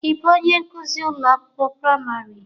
Ị bụ onye nkuzi ụlọ akwụkwọ praịmarị?